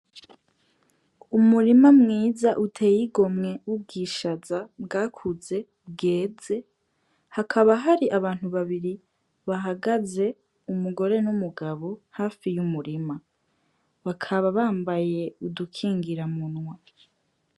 Umurima mwiza uteye igomwe w' ubwishaza bwakuze bweze hakaba hari abantu babiri bahagaze umugore n' umugabo hafi y' umurima, bakaba bambaye udukingira munwa.